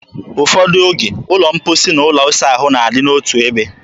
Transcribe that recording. Ụfọdụ oge, ụlọ mposi na ụlọ ịsa ahụ na-adị otu ebe.